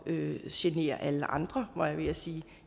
øvrigt generer alle andre var jeg ved at sige